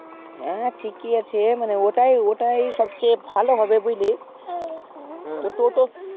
হ্যাঁ ঠিকই আছে মানে ওটাই ওটাই সবচেয়ে ভালো হবে বুঝলি টোটো